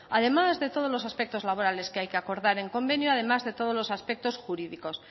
además de todos los aspectos laborales que hay que acordar en convenio además de todos los aspectos jurídicos